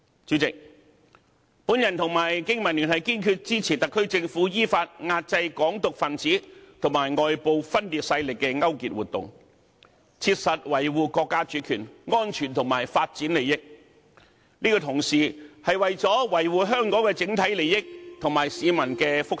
主席，我和香港經濟民生聯盟堅決支持特區政府，依法壓制"港獨"分子與外部分裂勢力的勾結活動，切實維護國家主權、安全和發展利益，這同時是為維護香港整體利益和市民的福祉。